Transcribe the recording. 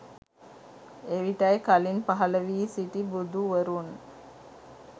එවිටයි කලින් පහළ වී සිටි බුදුවරුන්